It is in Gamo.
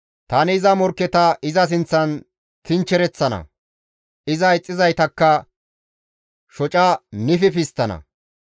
Tani iza morkketa iza sinththan tinchchereththana; iza ixxizaytakka shoca nififi histtana.